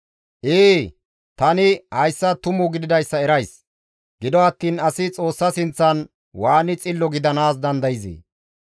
«Ee! Tani hayssa tumu gididayssa erays; gido attiin asi Xoossa sinththan waani xillo gidanaas dandayzee?